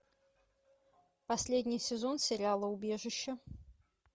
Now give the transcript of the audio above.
последний сезон сериала убежище